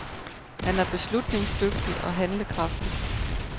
Han er beslutningsdygtig og handlekraftig.